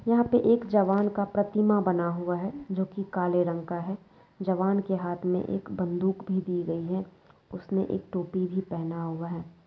यहाँ पे एक जवान का प्रतिमा बना हुआ है जो कि काले रंग का है। जवान के हाथ में एक बंदूक भी दी गई है उसने एक टोपी भी पहना हुआ है।